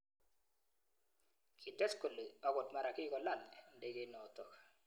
Kites kole akot mara kikolal ndegeinotok.